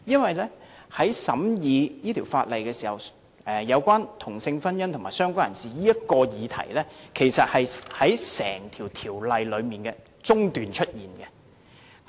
在審議這項《條例草案》時，有關"同性婚姻"和"相關人士"的議題其實是在審議過程的中段出現。